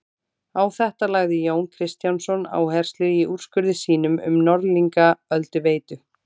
Á þetta lagði Jón Kristjánsson áherslu í úrskurði sínum um Norðlingaölduveitu.